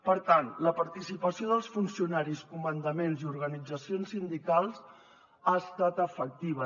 per tant la participació dels funcionaris comandaments i organitzacions sindicals ha estat efectiva